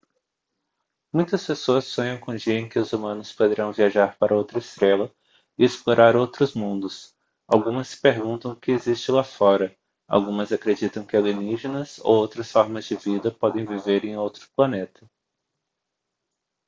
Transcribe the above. muitas pessoas sonham com o dia em que os humanos poderão viajar para outra estrela e explorar outros mundos algumas se perguntam o que existe lá fora algumas acreditam que alienígenas ou outras formas de vida podem viver em outro planeta